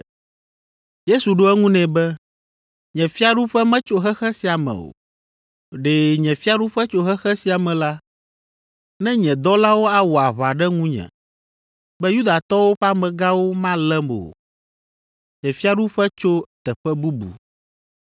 Yesu ɖo eŋu nɛ be, “Nye fiaɖuƒe metso xexe sia me o. Ɖe nye fiaɖuƒe tso xexe sia me la, ne nye dɔlawo awɔ aʋa ɖe nunye be Yudatɔwo ƒe amegãwo malém o. Nye fiaɖuƒe tso teƒe bubu.”